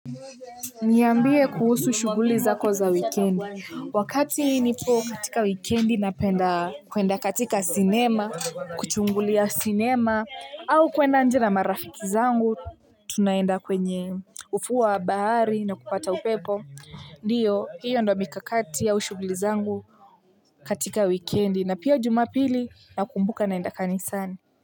Niambie kuhusu shughuli zako za wikendi, wakati nipo katika wikendi napenda kuenda katika sinema, kuchungulia sinema, au kuenda nje na marafiki zangu, tunaenda kwenye ufuo wa bahari na kupata upepo, ndio. Hiyo ndio mikakati au shughuli zangu katika wikendi, na pia jumapili nakumbuka naenda kanisani.